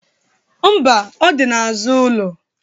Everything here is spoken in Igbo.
Mba, ọ dị n'azụ ụlọ.